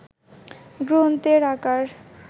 গ্রন্থের আকার